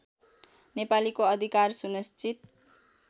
नेपालीको अधिकार सुनिश्चित